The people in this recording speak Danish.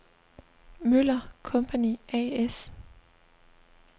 Møller & Co. A/S